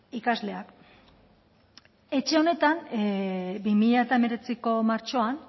ikasleak etxe honetan bi mila hemeretziko martxoan